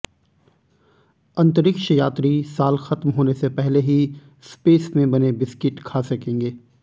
अंतरिक्ष यात्री साल खत्म होने से पहले ही स्पेस में बने बिस्किट खा सकेंगे